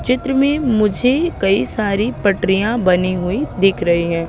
चित्र में मुझे कई सारी पटरिया बनी हुई दिख रही हैं।